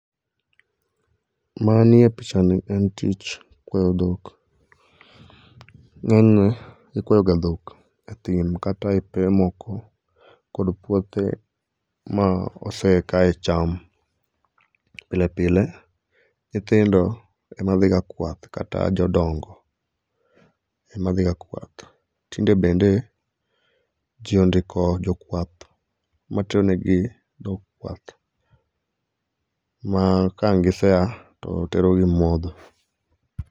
Manie pichani en tich kwayo dhok. Ng'eny ne, ikwayoga dhok e thim kata e pewe moko kata e puothe ma ose kaye cham. Pile pile nyithindo ema dhiga kwath kata jodongo ema dhiga kwath. Tinde bende ji ondiko jokwath matero negi dhok kwath ma ka ang' gisea to oterogi modho.